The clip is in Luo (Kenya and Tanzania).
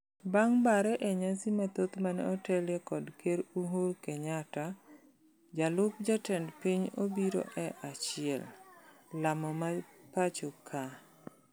Bang' bare e nyasi mathoth mane otelie kod ker Uhur Kenyatta, jalup jatend piny obiro e achiel. Lamo ma pacho ka.